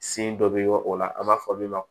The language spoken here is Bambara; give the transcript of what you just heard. dɔ bɛ o la an b'a fɔ min ma